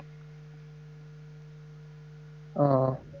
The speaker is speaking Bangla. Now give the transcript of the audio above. ও।